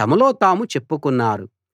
తమలో తాము చెప్పుకున్నారు